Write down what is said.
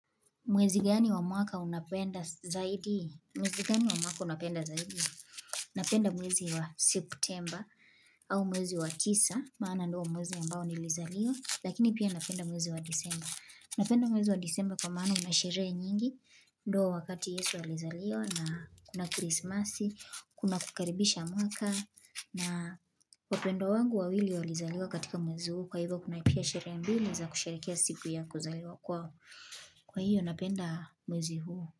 Mwezi gani wa mwaka unapenda zaidi? Mwezi gani wa mwaka unapenda zaidi? Napenda mwezi wa September au mwezi wa tisa, maana ndio mwezi ambao ni Lizaliwa, lakini pia napenda mwezi wa December. Napenda mwezi wa December kwa maana unashirehe nyingi, ndo wakati Yesu wa lizaliwa na kuna Christmas, kuna kukaribisha mwaka, na wapendwa wangu wawili wa Lizaliwa katika mwezi huu, kwa hivo kuna ipia sherehe mbili za kusherekea siku yako zaidi wa kwao. Kwa hiyo napenda mwezi huu.